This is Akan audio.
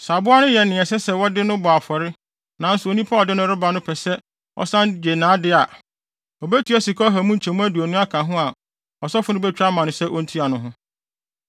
Sɛ aboa no yɛ nea ɛsɛ sɛ wɔde no bɔ afɔre nanso onipa a ɔde no reba no pɛ sɛ ɔsan gye nʼade a, obetua sika ɔha mu nkyɛmu aduonu aka bo a ɔsɔfo no betwa ama no sɛ ontua no ho.